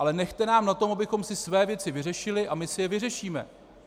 Ale nechte nám na tom, abychom si své věci vyřešili, a my si je vyřešíme.